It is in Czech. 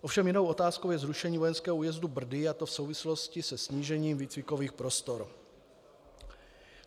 Ovšem jinou otázkou je zrušení vojenského újezdu Brdy, a to v souvislosti se snížením výcvikových prostor.